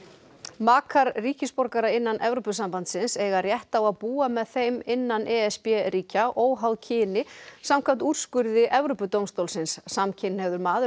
makar ríkisborgara innan Evrópusambandsins eiga rétt á að búa með þeim innan e s b ríkja óháð kyni samkvæmt úrskurði Evrópudómstólsins samkynhneigður maður